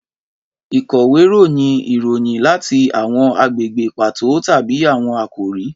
Ìkọ̀wé ròyìn ìròyìn láti àwọn agbègbè pàtó tàbí àwọn àkòrí